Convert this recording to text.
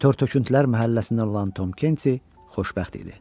Törtöküntülər məhəlləsindən olan Tom Kenti xoşbəxt idi.